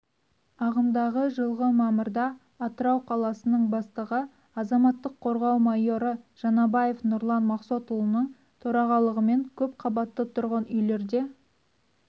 ағымдағы жылғы мамырда атырау қаласының бастығы азаматтық қорғау майоры жаңабаев нұрлан мақсотұлының төрағалығымен көпқабатты тұрғын үйлерде